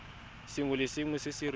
sengwe le sengwe se re